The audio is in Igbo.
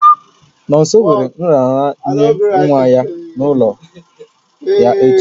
Nomso nwere nraranye nwa ya n'ụlọ ya echi